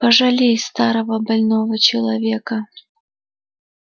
пожалей старого больного человека